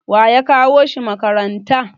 waye ya kawo shi makaranta?